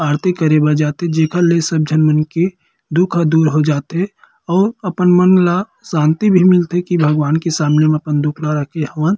आरती करे बर जाथे जेखर ले सब जन मन के दुःख दूर हर जाथे अऊ अपन मन ला शांति भी मिलथे की भगवान के सामने म अपन दुखला रखे हवन ।